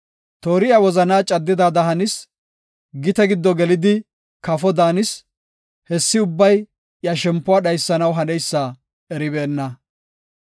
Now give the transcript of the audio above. Toori iya wozanaa caddidaada hanis; gite giddo gelida kafo daanis; hessi ubbay iya shempuwa dhaysanaw haneysa eribeenna.